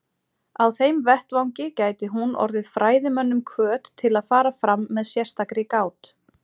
Á þeim vettvangi gæti hún orðið fræðimönnum hvöt til að fara fram með sérstakri gát.